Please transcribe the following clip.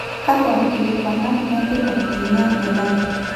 Kakwa kikilikwanat netipat tina gelare.